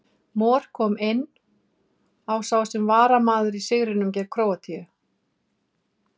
Mor kom inn á sem varamaður í sigrinum gegn Króatíu.